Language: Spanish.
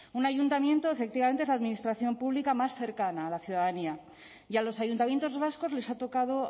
un ayuntamiento efectivamente es la administración pública más cercana a la ciudadanía y a los ayuntamientos vascos les ha tocado